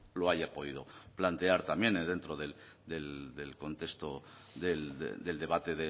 lo haya podido plantear también dentro del contexto del debate